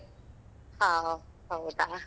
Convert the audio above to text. ಹ ಹ. ಹೌದಾ?